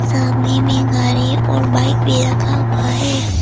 सामने में गाड़ी और बाइक भी रखा हुआ है।